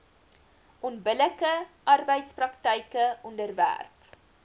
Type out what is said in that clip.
onbillike arbeidspraktyke onderwerp